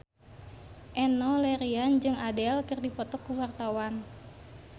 Enno Lerian jeung Adele keur dipoto ku wartawan